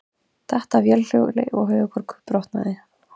Datt af vélhjóli og höfuðkúpubrotnaði